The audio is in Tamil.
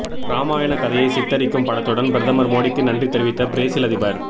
ராமாயண கதையை சித்தரிக்கும் படத்துடன் பிரதமர் மோடிக்கு நன்றி தெரிவித்த பிரேசில் அதிபர்